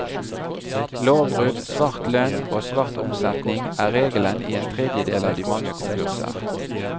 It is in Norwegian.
Lovbrudd, svart lønn og svart omsetning er regelen i en tredjedel av de mange konkurser.